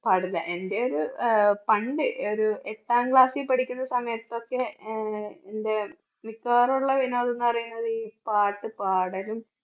പാടില്ല എൻറെ ഒരു അഹ് പണ്ട് ഒരു എട്ടാം class ൽ പഠിക്കുന്ന സമയത്തൊക്കെ അഹ് എൻറെ മിക്കവാറും ഉള്ള വിനോദ കാര്യങ്ങളിൽ പാട്ട് പാടലും